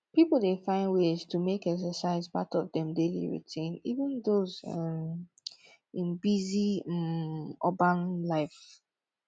people dey find ways to make exercise part of dem daily routine even those um in busy um urban life